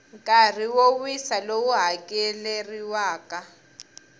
nkarhi wo wisa lowu hakeleriwaka